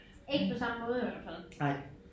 Ikke på samme måde i hvert fald